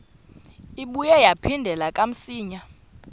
ibuye yaphindela kamsinya